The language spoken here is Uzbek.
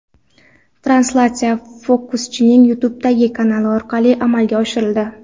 Translyatsiya fokuschining YouTube’dagi kanali orqali amalga oshirildi .